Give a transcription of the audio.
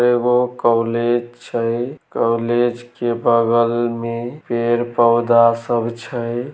एगो कॉलेज छै कॉलेज के बगल में पेड़-पौधा सब छै।